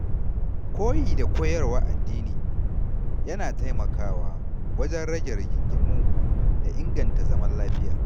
Koyi da koyarwar addini yana taimakawa wajen rage rigingimu da inganta zaman lafiya.